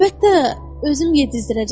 Əlbəttə, özüm yedizdirəcəm.